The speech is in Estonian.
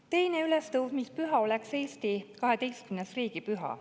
Teine ülestõusmispüha oleks Eesti 12. riigipüha.